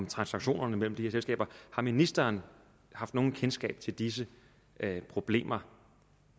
transaktionerne mellem de her selskaber har ministeren haft noget kendskab til disse problemer